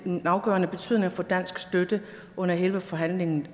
en afgørende betydning for dansk støtte under hele forhandlingen